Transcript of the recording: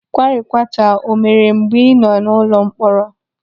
Kwarikwata o mere mgbe ị nọ n'ụlọ mkpọrọ?